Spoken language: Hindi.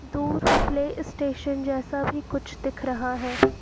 दूर प्ले स्टेशन जैसा भी कुछ दिख रहा है।